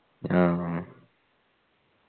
അആഹ്